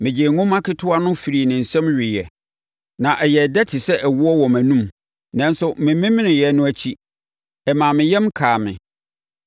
Megyee nwoma ketewa no firii ne nsam weeɛ, na ɛyɛɛ dɛ te sɛ ɛwoɔ wɔ mʼanom. Nanso, memeneeɛ no akyi, ɛmaa me yam kaa me.